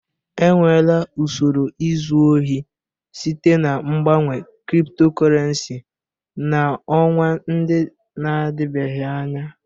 Enweela usoro izu ohi site na mgbanwe cryptocurrency n'ọnwa ndị na-adịbeghị anya.